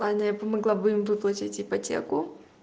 ладно я помогла бы им выплатить ипотеку